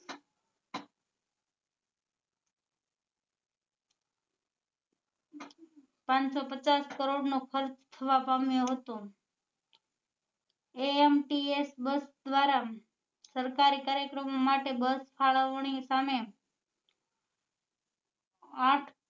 પાંચસો પચાસ કરોડ નો ખર્ચવા પામ્યો હતો ants બસ દ્વારા સરકારી કાર્યક્રમો માટે બસ ફાળવણી સામે આંઠ